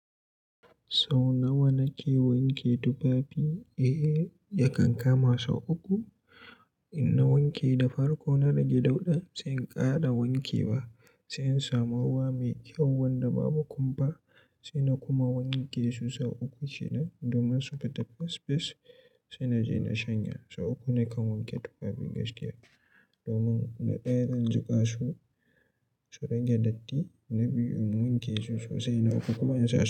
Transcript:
Sau nawa na ke wanke tufafi? Eh, yakan kama sau uku. In na wanke da farko na rage dauɗan, sai in ƙara wankewa. Sai in samu ruwa mai kyau wanda babu kumfa, sai na kuma wanke su sau uku kenan domin su fita fes fes. Sai na je na shanya. Sau uku ne kan wanke tufafi gaskiya, domin na ɗaya zan jiƙa su, su rage datti, na biyun wanke su sosai na uku kuma in sha.